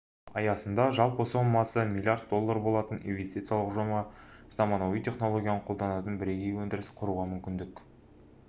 аясында жалпы сомасы млрд доллар болатын инвестициялық жоба заманауи технологияны қолданатын бірегей өндіріс құруға мүмкіндік